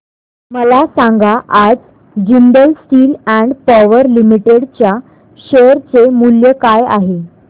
मला सांगा आज Jindal steel and power limited च्या शेअर चे मूल्य काय आहे